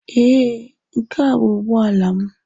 Ee, nke a bụ ụgbọ ala m.